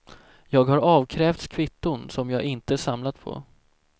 Jag har avkrävts kvitton som jag inte samlat på.